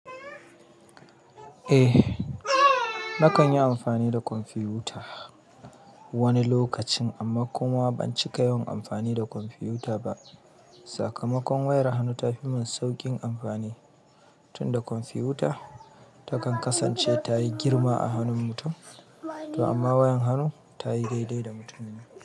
Eh nakan yi amfani da kwamfiyuta wani lokacin amma kuma ban cika yawan amfani da kwamfiyuta ba. Sakamakon wayar hannu ta fi mun saukin amfani tunda kwamfiyuta ta kan kasance tayi girma a hanun mutum, to amma wayar hannu tayi daidai da mutumin.